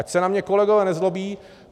Ať se na mě kolegové nezlobí.